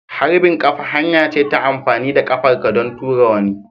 Harbin kafa hanya ce ta amfani da ƙafar ka don tura wani.